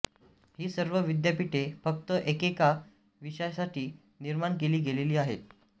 ही सर्व विद्यापीठे फक्त एकेका विषयासाठी निर्माण केली गेलेली आहेत